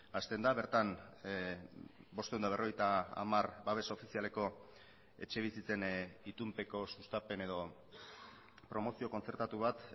hasten da bertan bostehun eta berrogeita hamar babes ofizialeko etxebizitzen itunpeko sustapen edo promozio kontzertatu bat